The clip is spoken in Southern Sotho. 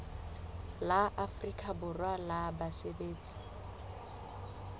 la afrika borwa la basebetsi